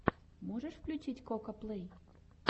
можешь включить кокаплэй